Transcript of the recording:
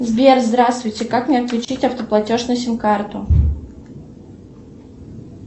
сбер здравствуйте как мне отключить автоплатеж на сим карту